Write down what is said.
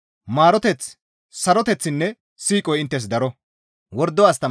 maaroteththi, saroteththinne siiqoy inttes daro.